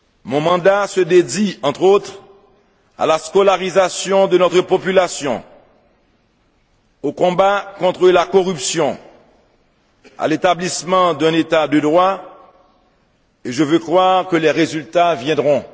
Mon mandat se dédie, entre autres, à la scolarisation de notre population, au combat contre la corruption, à l'établissement d'un État de droit, et je veux croire que les résultats viendront.